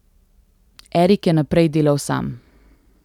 Erik je naprej delal sam.